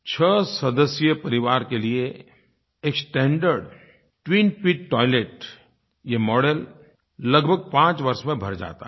छह सदस्यीय परिवार के लिये एक स्टैंडर्ड ट्विन पिट टॉयलेट ये मॉडेल लगभग पाँच वर्ष में भर जाता है